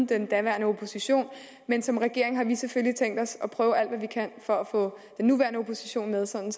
den daværende opposition men som regering har vi selvfølgelig tænkt os at prøve at hvad vi kan for at få den nuværende opposition med sådan